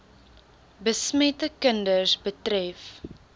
besmette kinders betref